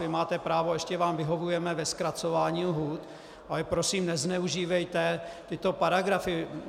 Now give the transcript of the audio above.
Vy máte právo, ještě vám vyhovujeme ve zkracování lhůt, ale prosím, nezneužívejte tyto paragrafy.